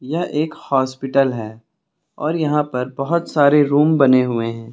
ये एक हॉस्पिटल है और यहां पर बोहोत सारे रूम बने हुए हैं।